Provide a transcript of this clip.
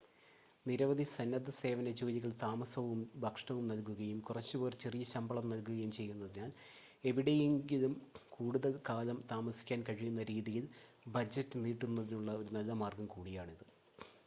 നിരവധി സന്നദ്ധസേവന ജോലികൾ താമസവും ഭക്ഷണവും നൽകുകയും കുറച്ച് പേർ ചെറിയ ശമ്പളം നൽകുകയും ചെയ്യുന്നതിനാൽ എവിടെയെങ്കിലും കൂടുതൽ കാലം താമസിക്കാൻ കഴിയുന്ന രീതിയിൽ ബജറ്റ് നീട്ടുന്നതിനുള്ള ഒരു നല്ല മാർഗ്ഗം കൂടിയാണിത്